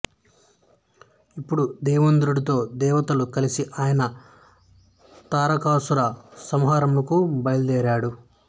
ఇప్పుడు దేవేంద్రుడితో దేవతలతో కలిసి ఆయన తారకాసుర సంహారమునకు బయలుదేరాడు